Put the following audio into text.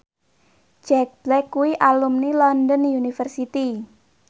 Jack Black kuwi alumni London University